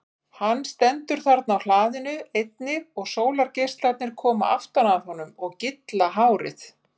Hann stendur þarna á hlaðinu einnig og sólargeislarnir koma aftan að honum og gylla hárið.